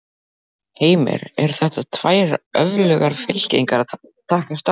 Heimir: Eru þetta tvær öflugar fylkingar að takast á?